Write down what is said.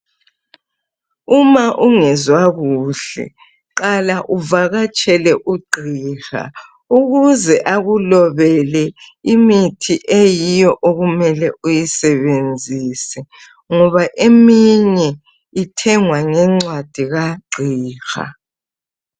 Uma ungezwa kuhle qala uvakatshele ugqiha ukuze akulobele imithi eyiyo okumele uyisebenzise ngoba eminye ithengwa ngencwadi kagqiha.